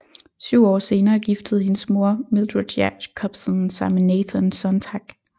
Syv år senere giftede hendes mor Mildred Jacobson sig med Nathan Sontag